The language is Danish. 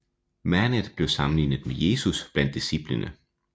Manet blev sammenlignet med Jesus blandt disciplene